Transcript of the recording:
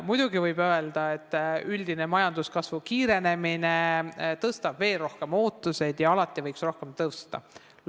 Muidugi võib öelda, et üldine majanduskasvu kiirenemine tõstab veel rohkem ootusi ja alati võiks palk rohkem tõusta.